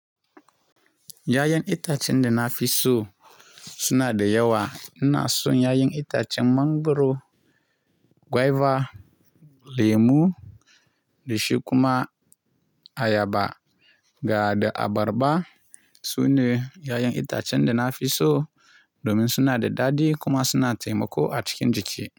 Yayan itacen da na fi so suna da yawa. Ina so yayan itacen mangwaro, gwaiba, lemu da shi kuma ayaba ga da abarba. Sune yayan itacen da na fi so domin suna da dadi kuma suna taimako a cikin jiki.